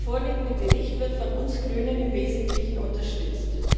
Der vorliegende Bericht wird von uns Grünen im Wesentlichen unterstützt.